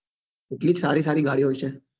એટલી જ સારી સારી ગાડીઓ છે